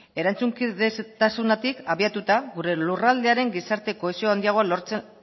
erantzukizunagatik abiatuta gure lurraldearen gizarte kohesio handiagoa lortzen